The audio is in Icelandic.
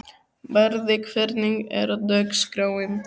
Barði, hvernig er dagskráin?